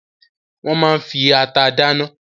Wọ́n máa ń fi ata dáná.